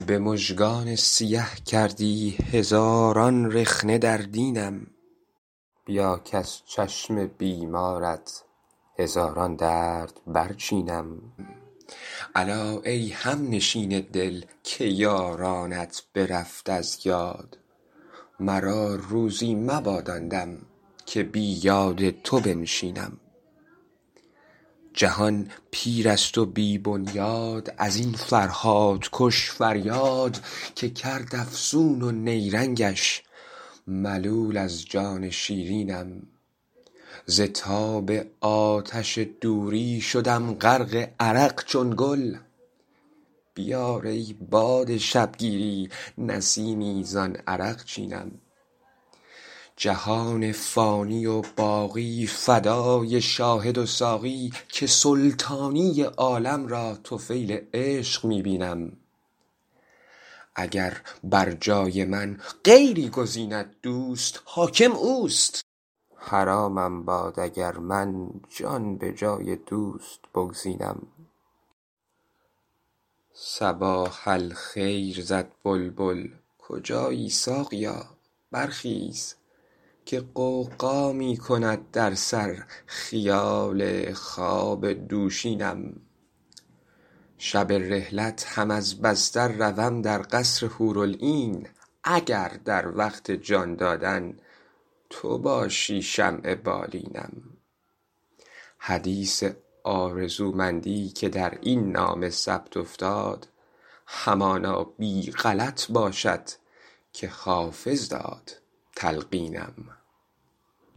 به مژگان سیه کردی هزاران رخنه در دینم بیا کز چشم بیمارت هزاران درد برچینم الا ای همنشین دل که یارانت برفت از یاد مرا روزی مباد آن دم که بی یاد تو بنشینم جهان پیر است و بی بنیاد از این فرهادکش فریاد که کرد افسون و نیرنگش ملول از جان شیرینم ز تاب آتش دوری شدم غرق عرق چون گل بیار ای باد شبگیری نسیمی زان عرقچینم جهان فانی و باقی فدای شاهد و ساقی که سلطانی عالم را طفیل عشق می بینم اگر بر جای من غیری گزیند دوست حاکم اوست حرامم باد اگر من جان به جای دوست بگزینم صباح الخیر زد بلبل کجایی ساقیا برخیز که غوغا می کند در سر خیال خواب دوشینم شب رحلت هم از بستر روم در قصر حورالعین اگر در وقت جان دادن تو باشی شمع بالینم حدیث آرزومندی که در این نامه ثبت افتاد همانا بی غلط باشد که حافظ داد تلقینم